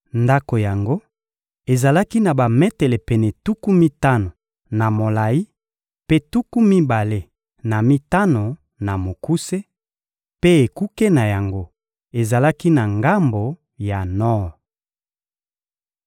Ndako yango ezalaki na bametele pene tuku mitano na molayi mpe tuku mibale na mitano na mokuse, mpe ekuke na yango ezalaki na ngambo ya nor.